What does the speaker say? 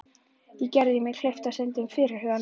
Gerði verði gert kleift að stunda fyrirhugað nám.